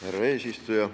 Härra eesistuja!